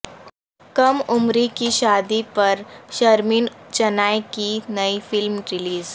کم عمری کی شادی پر شرمین چنائے کی نئی فلم ریلیز